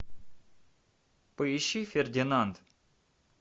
поищи фердинанд